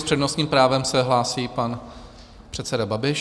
S přednostním právem se hlásí pan předseda Babiš.